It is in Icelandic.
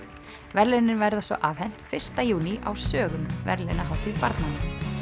verðlaunin verða svo afhent fyrsta júní á sögum verðlaunahátíð barnanna